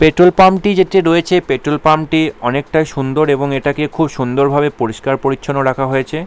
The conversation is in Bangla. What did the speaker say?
পেট্রল পাম্প -টি যেটি রয়েছে পেট্রল পাম্প -টি অনেকটাই সুন্দর এবং এইটাকে খুব সুন্দর ভাবে পরিষ্কার পরিচ্ছন্ন রাখা হয়েছে ।